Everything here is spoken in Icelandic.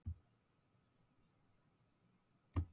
Ætlunin var að þau yrðu þarna aðeins til bráðabirgða.